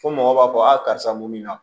Fo mɔgɔ b'a fɔ a karisa mun na